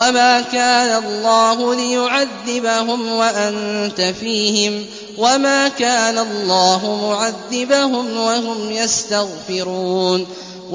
وَمَا كَانَ اللَّهُ لِيُعَذِّبَهُمْ وَأَنتَ فِيهِمْ ۚ وَمَا كَانَ اللَّهُ مُعَذِّبَهُمْ وَهُمْ يَسْتَغْفِرُونَ